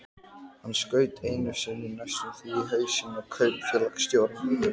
Hann skaut einu sinni næstum því í hausinn á kaupfélagsstjóranum.